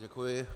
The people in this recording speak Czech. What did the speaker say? Děkuji.